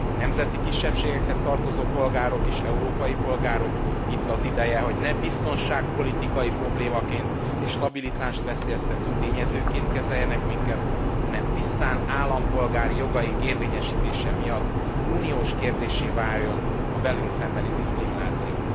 A nemzeti kisebbségekhez tartozó polgárok is európai polgárok, itt az ideje, hogy ne biztonságpolitikai problémaként és stabilitást veszélyeztető tényezőként kezeljenek minket, hanem tisztán állampolgári jogaink érvényesítése miatt uniós kérdéssé váljon a velünk szembeni diszkrimináció.